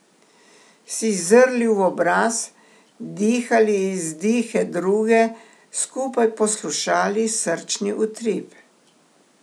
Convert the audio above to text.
Si zrli v obraz, dihali izdihe druge, skupaj poslušali srčni utrip.